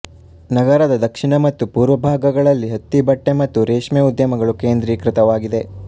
ನಗರದ ದಕ್ಷಿಣ ಮತ್ತು ಪೂರ್ವಭಾಗಗಳಲ್ಲಿ ಹತ್ತಿ ಬಟ್ಟೆ ಮತ್ತು ರೇಷ್ಮೇ ಉದ್ಯಮಗಳು ಕೇಂದ್ರಿಕೃತವಾಗಿದೆ